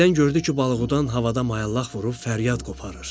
Birdən gördü ki, balıqdan havada mayallaq vurub fəryad qoparır.